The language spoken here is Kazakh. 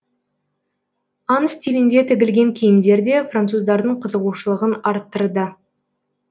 аң стилінде тігілген киімдер де француздардың қызығушылығын арттырды